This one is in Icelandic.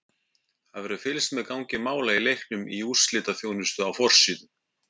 Það verður fylgst með gangi mála í leiknum í úrslitaþjónustu á forsíðu.